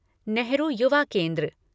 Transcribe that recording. नेहरू युवा केन्द्र